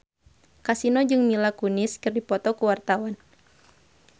Kasino jeung Mila Kunis keur dipoto ku wartawan